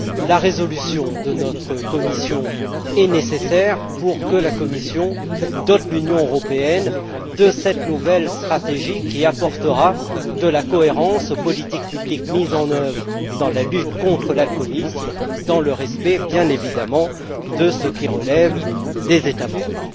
La résolution de notre commission est nécessaire pour que la Commission dote l'Union européenne de cette nouvelle stratégie qui apportera de la cohérence aux politiques publiques mises en œuvre dans la lutte contre l'alcoolisme, dans le respect, bien évidemment, de ce qui relève des États membres.